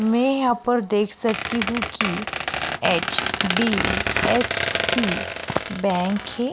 मैं यहाँ पर देख सकती हूँ कि एच.डी.एफ.सी. बैंक है।